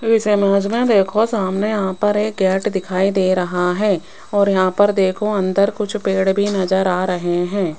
इस इमेज में देखो सामने यहां पर एक गेट दिखाई दे रहा है और यहां पर देखो अंदर कुछ पेड़ भी नजर आ रहे हैं।